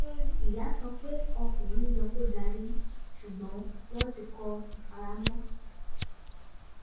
ìyá sọ pé ọkùnrin yẹ kó darí ṣùgbọ́n wọn ti kọ́ ìfaramọ́